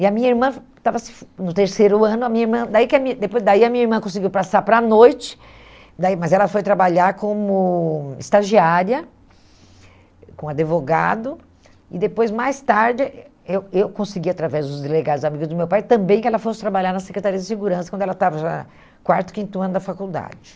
E a minha irmã estava se no terceiro ano, a minha irmã daí que a min depois daí a minha irmã conseguiu passar para a noite, daí mas ela foi trabalhar como estagiária, com advogado, e depois, mais tarde, eu eu consegui, através dos delegados amigos do meu pai, também que ela fosse trabalhar na Secretaria de Segurança, quando ela estava já quarto, quinto ano da faculdade.